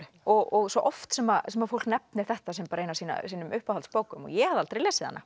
og svo oft sem sem fólk nefnir þetta sem eina af sínum uppáhaldsbókum ég hafði aldrei lesið hana